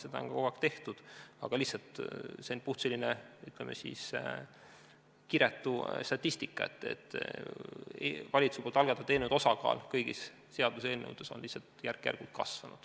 Seda on ka kogu aeg tehtud, aga see on lihtsalt kiretu statistika, et valitsuse algatatud eelnõude osakaal kõigi seaduseelnõude seas on järk-järgult kasvanud.